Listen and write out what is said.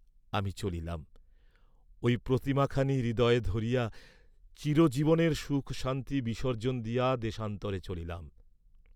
আমি চলিলাম, ঐ প্রতিমাখানি হৃদয়ে ধরিয়া চিরজীবনের সুখশান্তি বিসর্জ্জন দিয়া দেশান্তরে চলিলাম।